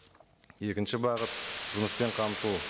екінші бағыт жұмыспен қамту